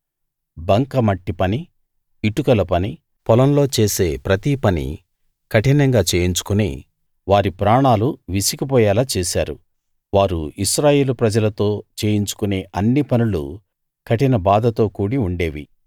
బంకమట్టి పని ఇటుకల పని పొలంలో చేసే ప్రతి పనీ కఠినంగా చేయించుకుని వారి ప్రాణాలు విసిగిపోయేలా చేశారు వారు ఇశ్రాయేలు ప్రజలతో చేయించుకొనే అన్ని పనులూ కఠిన బాధతో కూడి ఉండేవి